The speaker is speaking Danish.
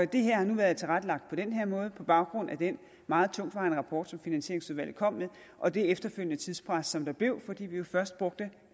det her har nu været tilrettelagt på den her måde på baggrund af den meget tungtvejende rapport som finansieringsudvalget kom med og det efterfølgende tidspres som der blev fordi vi jo først brugte